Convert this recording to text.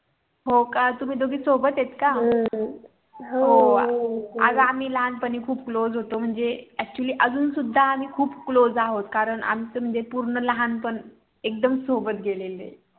हो का तुम्ही दोघी सोबत आहत काय अगं आम्ही लहानपणी खूप CLOSE होतो म्हणजे ACTUALLY अजून सुद्धा आम्ही खूप CLOSE आहोत कारण आमचं म्हणजे पूर्ण लहानपण एकदम सोबत गेलेल अहेत